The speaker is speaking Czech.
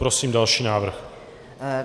Prosím další návrh.